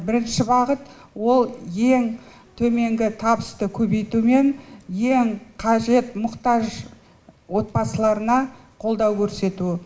бірінші бағыт ол ең төменгі табысты көбейту мен ең қажет мұқтаж отбасыларына қолдау көрсету